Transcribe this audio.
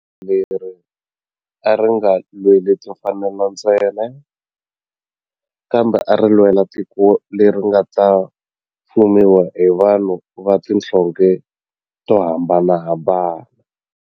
Leri a ri nga lweli timfanelo ntsena kambe ari lwela tiko leri nga ta fumiwa hi vanhu va tihlonge to hambanahambana.